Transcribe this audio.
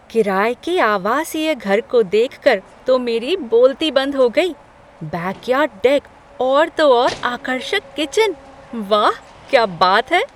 किराये के आवासीय घर को देखकर तो मेरी बोलती बंद हो गई। बैकयार्ड डेक और तो और आकर्षक किचन, वाह! क्या बात है!